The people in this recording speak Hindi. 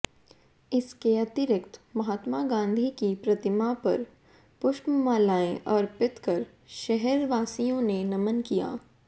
इसके अतिरिक्त महात्मा गांधी की प्रतिमा पर पुष्पमालाएं अर्पित कर शहरवासियों ने नमन किया